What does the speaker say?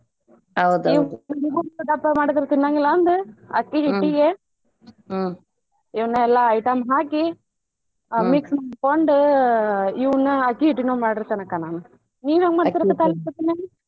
ಅಕ್ಕಿ ಹಿಟ್ಟಿಗೆ ಇವನೆಲ್ಲಾ item ಹಾಕಿ mix ಮಾಡ್ಕೊಂಡು ಇವ್ನ ಅಕ್ಕಿ ಹಿಟ್ಟಿನ್ನು ಮಾಡಿರತೇನ ಅಕ್ಕಾ ನಾನು ನೀವ್ ಹೆಂಗ್ ಮಾಡಿರತೇರಿ ಅಕ್ಕಾ ತಾಲೀಪಟ್ಟಿನ?